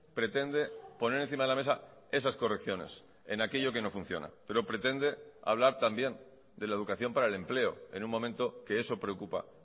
pretende poner encima de la mesa esas correcciones en aquello que no funciona pero pretende hablar también de la educación para el empleo en un momento que eso preocupa